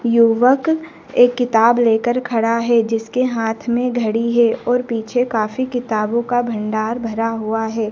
युवक एक किताब लेकर खड़ा है जिसके हाथ में घड़ी है और पीछे काफी किताबों का भंडार भरा हुआ है।